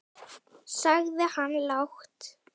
sagði hann lágt.